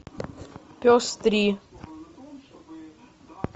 пес три